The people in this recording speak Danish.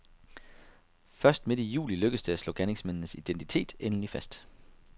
Først midt i juli lykkedes det at slå gerningsmændenes identitet endelig fast.